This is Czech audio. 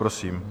Prosím.